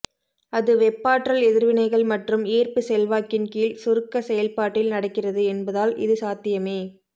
அது வெப்பாற்றல் எதிர்வினைகள் மற்றும் ஈர்ப்பு செல்வாக்கின் கீழ் சுருக்க செயல்பாட்டில் நடக்கிறது என்பதால் இது சாத்தியமே